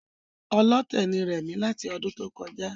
Ọlọ́tẹ̀ ni rẹ̀mí láti ọdún tó kọjá